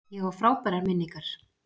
Ég á frábærar minningar.